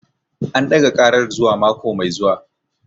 An ɗaga ƙarar zuwa mako mai zuwa